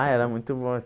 Ah, era muito bom.